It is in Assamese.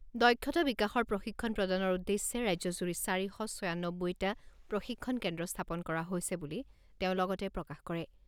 দক্ষতা বিকাশৰ প্ৰশিক্ষণ প্ৰদানৰ উদ্দেশ্যে ৰাজ্যজুৰি চাৰি শ ছয়ানব্বৈটা প্ৰশিক্ষণ কেন্দ্ৰ স্থাপন কৰা হৈছে বুলি তেওঁ লগতে প্ৰকাশ কৰে।